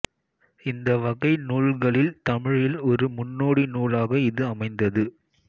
இந்த வகை நூல்களில் தமிழில் ஒரு முன்னோடி நூலாக இது அமைந்தது